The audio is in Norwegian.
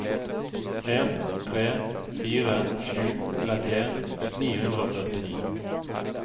en tre fire sju trettien ni hundre og førtini